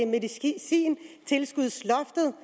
medicintilskudsloftet